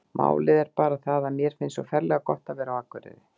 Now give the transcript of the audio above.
Málið er bara það að mér finnst svo ferlega gott að vera á Akureyri.